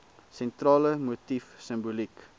sentrale motief simboliek